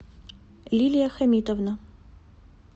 лилия хамитовна